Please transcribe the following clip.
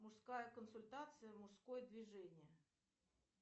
мужская консультация мужское движение